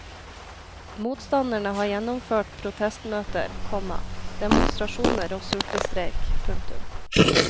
Motstanderne har gjennomført protestmøter, komma demonstrasjoner og sultestreik. punktum